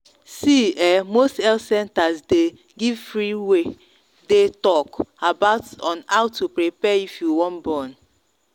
see um most health centers day give free way day talk about how to prepare if you wan born.